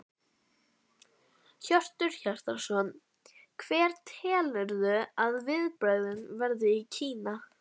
Hjörtur Hjartarson: Hver telurðu að viðbrögðin verði í Kína?